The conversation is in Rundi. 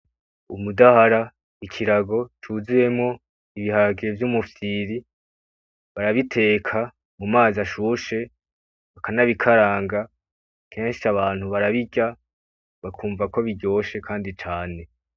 Umudahara, ikirago cuzuyemwo ibiharage vy'umufyiri barabiteka mumazi ashushe bakanabikaranga, kenshi abantu barabirya bakumva ko biryoshe kandi cane.